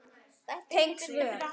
Tengd svör